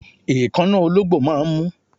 Èékánná ológbò máà ń mú